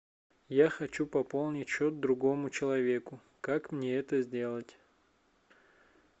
я хочу пополнить счет другому человеку как мне это сделать